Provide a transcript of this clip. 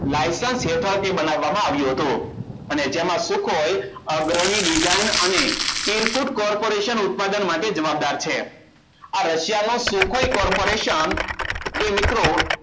Licence હેઠળથી બનાવવામાં આવ્યું હતું અને જેમાં sukhoi અગ્રવી design અને irkut corporation ઉત્પાદન માટે જવાબદાર છે. આ રશિયાનું sukhoi corporation એ મિત્રો